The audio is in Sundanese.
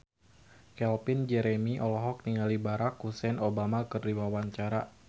Calvin Jeremy olohok ningali Barack Hussein Obama keur diwawancara